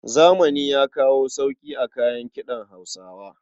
Zamani ya kawo sauyi a kayan kiɗan Hausawa.